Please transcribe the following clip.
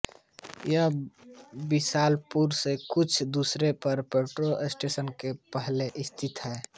यह बिलासपुर से कुछ दूरी पर पेंड्रा स्टेशन के पहले स्थित है